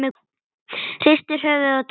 Hristir höfuðið og dæsir.